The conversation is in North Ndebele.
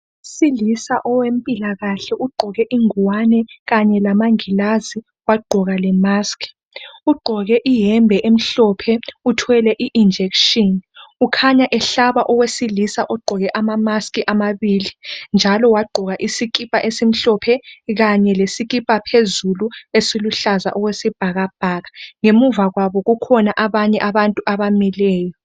Owesilisa owempilakahle ugqoke ingwane kanye lamangilazi wagqoka lemaski, ugqoke iyembe emhlophe uthwele injekishini. Ukhanya ehlaba owesilisa ogqoke amamaski amabili, njalo wagqoka isikipa esimhlophe kanye lesikipa phezulu esiluhlazaa okwesibhakabhaka. Ngemuva kwabo kukhona abanye abantu abamileyo.